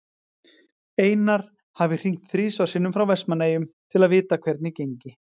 Einar hafi hringt þrisvar sinnum frá Vestmannaeyjum til að vita hvernig gengi.